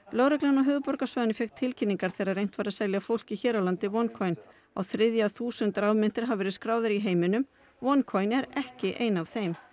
lögreglan á höfuðborgarsvæðinu fékk tilkynningar þegar reynt var að selja fólki hér á landi á þriðja þúsund rafmyntir hafa verið skráðar í heiminum oneCoin er ekki ein af þeim